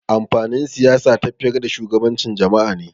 Amfanin Siyasa tafiyar da shugabancin jama'a ne.